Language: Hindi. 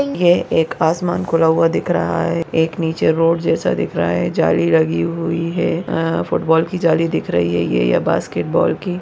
है एक आसमान खुला हुआ दिख रहा है एक नीचे रोड जैसा दिख रहा है जाली लगी हुई है अ फूटबाल की जाली दिख रही है ये ये बास्केट बॉल की --